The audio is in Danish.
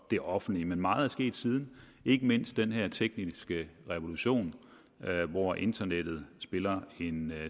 det offentlige men meget er sket siden ikke mindst den her tekniske revolution hvor internettet spiller en